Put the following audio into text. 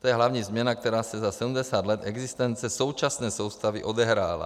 To je hlavní změna, která se za 70 let existence současné soustavy odehrála.